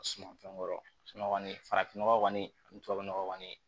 Sumanfɛn kɔrɔ farafin nɔgɔ kɔni ani tubabu nɔgɔ kɔni